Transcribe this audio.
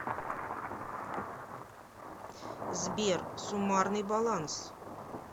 сбер суммарный баланс